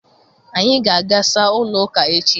Anyị ga-aga saa ụlọụka echi